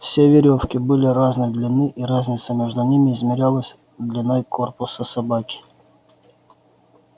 все верёвки были разной длины и разница между ними измерялась длиной корпуса собаки